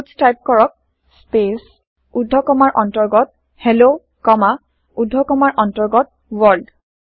পাটছ type কৰক space ঊৰ্ধ কমাৰ অন্তৰ্গত হেল্ল কমা ঊৰ্ধ কমাৰ অন্তৰ্গত ৱৰ্ল্ড